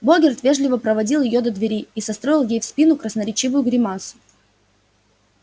богерт вежливо проводил её до двери и состроил ей в спину красноречивую гримасу